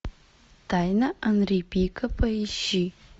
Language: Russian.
тайна анри пика поищи